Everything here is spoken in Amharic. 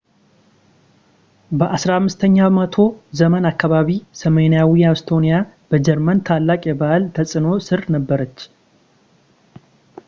በ 15 ኛው መቶ ዘመን አካባቢ ሰሜናዊው ኢስቶኒያ በጀርመን ታላቅ የባህል ተጽዕኖ ሥር ነበረች